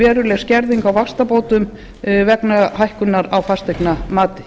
veruleg skerðing á vaxtabótum vegna hækkunar á fasteignamati